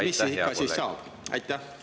Mis siis ikkagi saab?